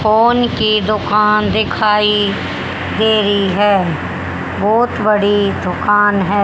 Phone की दुकान दिखाई दी रही है बहुत बड़ी दुकान है।